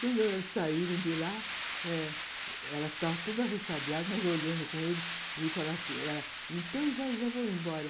Quando eles saíram de lá eh, ela estava toda ressabiada, mas olhando com ele e falando assim, ela, então, já já vou embora.